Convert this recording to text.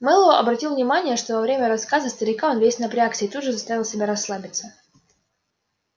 мэллоу обратил внимание что во время рассказа старика он весь напрягся и тут же заставил себя расслабиться